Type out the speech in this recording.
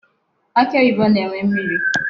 Akị oyibo na-enwe mmiri.